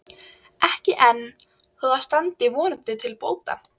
Ekki enn, þó það standi vonandi til bóta.